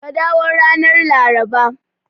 Ka dawo ranar Laraba.